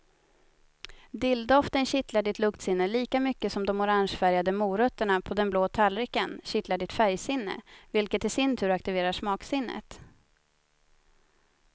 Dilldoften kittlar ditt luktsinne lika mycket som de orangefärgade morötterna på den blå tallriken kittlar ditt färgsinne, vilket i sin tur aktiverar smaksinnet.